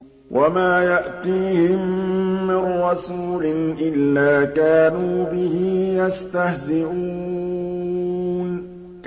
وَمَا يَأْتِيهِم مِّن رَّسُولٍ إِلَّا كَانُوا بِهِ يَسْتَهْزِئُونَ